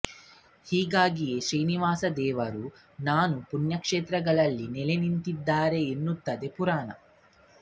ಹೀಗಾಗೇ ಶ್ರೀನಿವಾಸದೇವರು ನಾನಾ ಪುಣ್ಯಕ್ಷೇತ್ರಗಳಲ್ಲಿ ನೆಲೆ ನಿಂತಿದ್ದಾರೆ ಎನ್ನುತ್ತದೆ ಪುರಾಣ